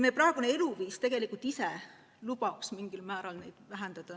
Meie praegune eluviis tegelikult lubaks neid emissioone mingil määral vähendada.